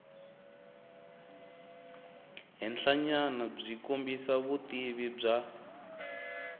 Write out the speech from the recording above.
henhlanyana byi kombisa vutivi bya